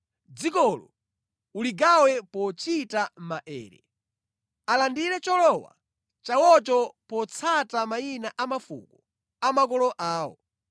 Dzikolo uligawe pochita maere. Alandire cholowa chawocho potsata mayina a mafuko a makolo awo.